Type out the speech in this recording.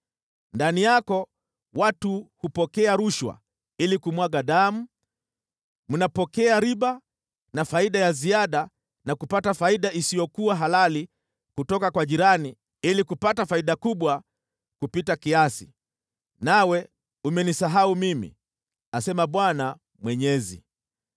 Ndani yako watu hupokea rushwa ili kumwaga damu, mnapokea riba na faida ya ziada na kupata faida isiyokuwa halali kutoka kwa jirani ili kupata faida kubwa kupita kiasi. Nawe umenisahau mimi, asema Bwana Mwenyezi.